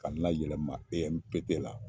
Ka na yɛlɛma EMPP la